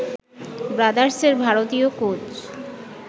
ব্রাদার্সের ভারতীয় কোচ